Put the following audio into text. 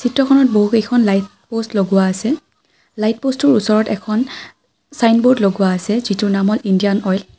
Photo খনত বহু কেইখন লাইট প'ষ্ট লগোৱা আছে লাইট প'ষ্টটোৰ ওচৰত এখন চাইনবৰ্ড লগোৱা আছে যিটোৰ নাম হ'ল ইণ্ডিয়ান অইল ।